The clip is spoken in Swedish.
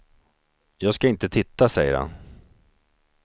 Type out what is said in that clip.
Jag ska inte titta, säger han.